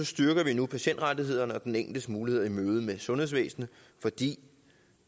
styrker vi nu patientrettighederne og den enkeltes muligheder i mødet med sundhedsvæsenet fordi